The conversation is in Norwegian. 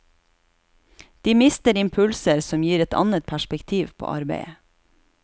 De mister impulser som gir et annet perspektiv på arbeidet.